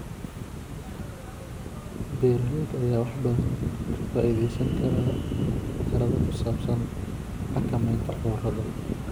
Beeralayda ayaa wax badan ka faa'iidaysan kara talada ku saabsan xakamaynta cudurrada.